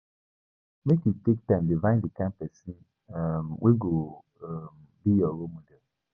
Make you take time define di kain pesin um wey go um be your role model.